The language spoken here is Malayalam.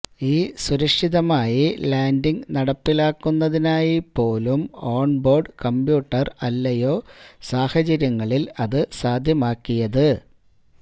ഈ സുരക്ഷിതമായി ലാൻഡിങ് നടപ്പിലാക്കുന്നതിനായി പോലും ഓൺ ബോർഡ് കമ്പ്യൂട്ടർ അല്ലയോ സാഹചര്യങ്ങളിൽ അത് സാധ്യമാക്കിയത്